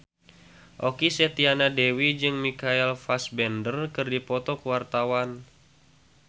Okky Setiana Dewi jeung Michael Fassbender keur dipoto ku wartawan